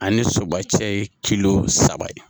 Ani soba cɛ ye saba ye